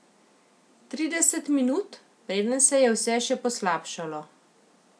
Trideset minut, preden se je vse še poslabšalo.